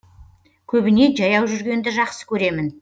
көбіне жаяу жүргенді жақсы көремін